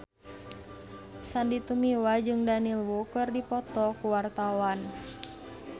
Sandy Tumiwa jeung Daniel Wu keur dipoto ku wartawan